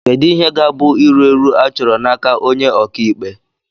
Kedu ihe ga-abụ iru èrù achọrọ n'aka onye ọka ikpe